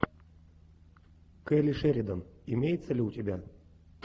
келли шеридан имеется ли у тебя